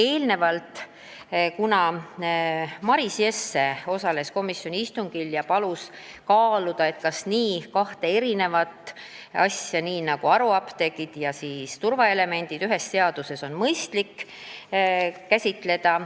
Eelnevalt oli Maris Jesse, kes osales ka komisjoni istungil, palunud kaaluda, kas on mõistlik kahte nii erinevat asja nagu haruapteegid ja turvaelemendid ühes seaduses käsitleda.